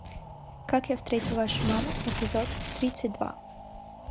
как я встретил вашу маму эпизод тридцать два